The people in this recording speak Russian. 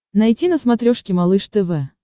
найти на смотрешке малыш тв